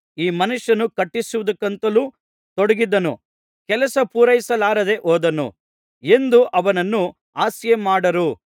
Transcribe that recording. ಈ ಮನುಷ್ಯನು ಕಟ್ಟಿಸುವುದಕ್ಕಂತೂ ತೊಡಗಿದನು ಕೆಲಸಪೂರೈಸಲಾರದೆ ಹೋದನು ಎಂದು ಅವನನ್ನು ಹಾಸ್ಯಮಾಡಾರು